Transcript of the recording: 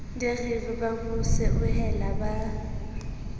direng ba mo seohela ba